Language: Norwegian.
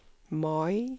Mai